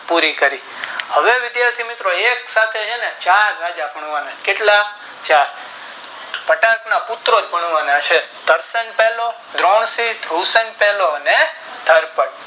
પુરી કરી હવે વિધાથી મિત્રો એક સાથે ચાર ભાગ્યા કરવાના કેટલા ચાર ઘટાકના પુત્ર પરણવાના છે દર્પણ